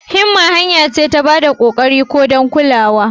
Himma hanya ce ta ba da kokarin ku don kulawa.